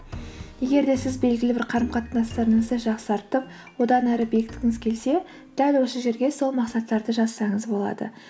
егер де сіз белгілі бір қарым қатынастарыңызды жақсартып одан әрі бекіткіңіз келсе дәл осы жерге сол мақсаттарды жазсаңыз болады